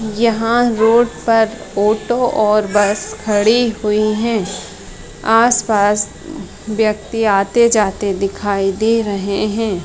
यहाँ पर रोड पर ऑटो और बस खड़ी हुई है आस पास उ व्यक्ति आते जाते दिखाई दे रहे है ।